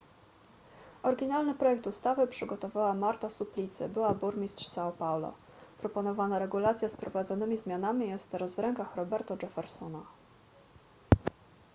oryginalny projekt ustawy przygotowała marta suplicy była burmistrz são paulo. proponowana regulacja z wprowadzonymi zmianami jest teraz w rękach roberto jeffersona